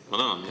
Ma tänan!